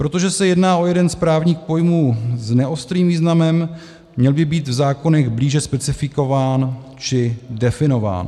Protože se jedná o jeden z právních pojmů s neostrým významem, měl by být v zákonech blíže specifikován či definován.